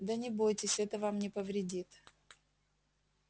да не бойтесь это вам не повредит